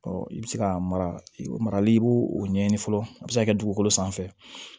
i bɛ se ka marali i b'o o ɲɛɲini fɔlɔ a bɛ se ka kɛ dugukolo sanfɛ